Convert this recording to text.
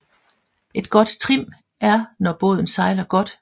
Et godt trim er når båden sejler godt